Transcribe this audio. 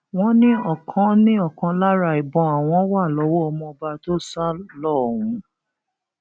wọn ní ọkan ní ọkan lára ìbọn àwọn wà lọwọ ọmọọba tó sá lọ ọhún